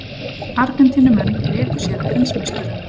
Argentínumenn léku sér að heimsmeisturunum